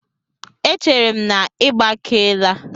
Echere m na ị gbakeela?